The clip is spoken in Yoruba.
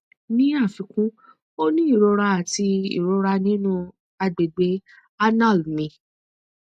ni afikun o ni irora ati irora ninu agbegbe anal mi